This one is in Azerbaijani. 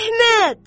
Əhməd!